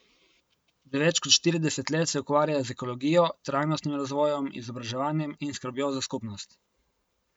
Že več kot štirideset let se ukvarja z ekologijo, trajnostnim razvojem, izobraževanjem in skrbjo za skupnost.